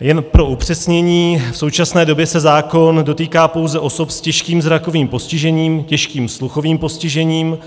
Jen pro upřesnění, v současné době se zákon dotýká pouze osob s těžkým zrakovým postižením, těžkým sluchovým postižením,